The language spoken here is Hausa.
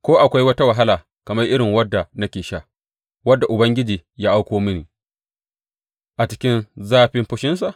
Ko akwai wata wahala kamar irin wadda nake sha, wadda Ubangiji ya auko mini a cikin zafin fushinsa?